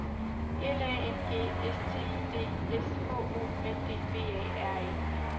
L A N G S T I D S H O L D B A R E